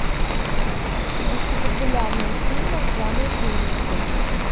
найти популярные фильмы в жанре ужасы